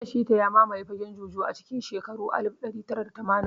Shina Pita ya mamaye fagen Juju a cikin shekaru alif ɗari tara da tamanin